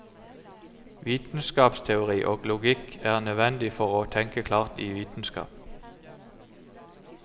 Vitenskapsteori og logikk er nødvendig for å tenke klart i vitenskap.